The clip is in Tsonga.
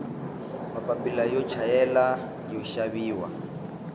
mapila yo chayela yoxaviwa